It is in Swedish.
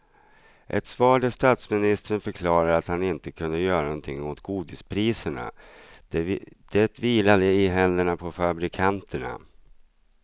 Ett svar där statsministern förklarade att han inte kunde göra något åt godispriserna, det vilade i händerna på fabrikanterna.